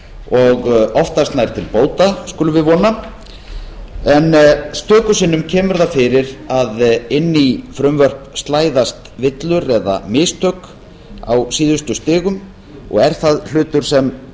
og oftast nær til bóta skulum við vona en stöku sinnum kemur það fyrir að inn í frumvörp slæðast villur eða mistök á síðustu stigum og er það hlutur sem